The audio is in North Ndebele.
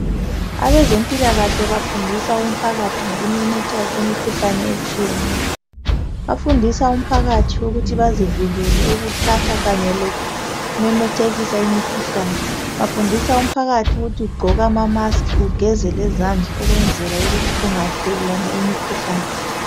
Abezempilakahle bafundisa umphakathi ngokumemetheka kwemikhuhlane etshiyeneyo. Bafundisa umphakathi ukuthi bazivikele ukuthatha kanye lokumemethekisa imikhuhlane bafundisa umphakathi ukuthi ugqoke ama masikhi ugeze lezandla ukwenzela ukuthi kungathelelwana imikhuhlane.